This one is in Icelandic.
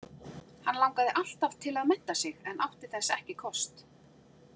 Hann langaði alltaf til að mennta sig en átti þess ekki kost.